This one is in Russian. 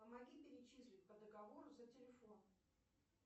помоги перечислить по договору за телефон